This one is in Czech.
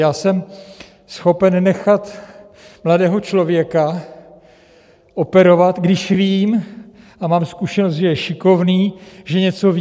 Já jsem schopen nechat mladého člověka operovat, když vím a mám zkušenost, že je šikovný, že něco ví.